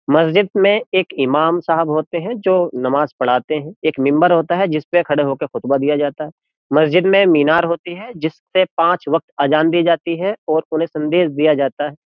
मस्जिद में एक इमाम साहब होते हैं जो नमाज़ पढ़ाते हैं एक मिंबर होता है जिस पर खड़े होकर खुतबा दिया जाता है मस्जिद में मीनार होती है जिससे पांच वक्त अजान दी जाती है और उन्हें संदेश दिया जाता है।